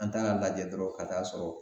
An ta ka lajɛ dɔrɔn ka taa sɔrɔ